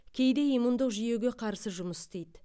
кейде иммундық жүйеге қарсы жұмыс істейді